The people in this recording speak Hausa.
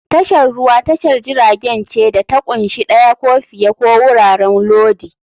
Tashar ruwa tashar jiragen ce da ta ƙunshi ɗaya ko fiye ko wuraren lodi.